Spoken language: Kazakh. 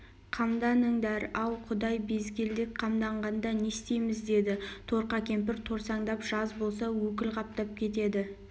қамданыңдар ау құдай безгелдек қамданғанда не істейміз деді торқа кемпір торсаңдап жаз болса өкіл қаптап кетеді